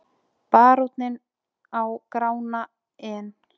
Baróninn á Grána en